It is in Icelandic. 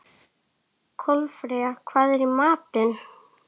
Kolfreyja, hvað er í matinn?